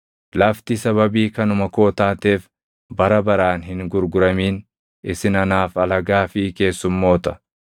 “ ‘Lafti sababii kanuma koo taateef bara baraan hin gurguramin; isin anaaf alagaa fi keessummoota.